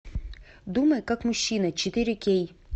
думай как мужчина четыре кей